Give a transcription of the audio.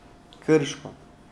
Krško.